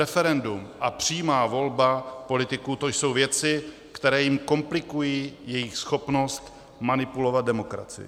Referendum a přímá volba politiků, to jsou věci, které jim komplikují jejich schopnost manipulovat demokracii.